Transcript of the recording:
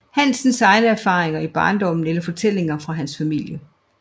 Hansens egne erfaringer i barndommen eller fortællinger fra hans familie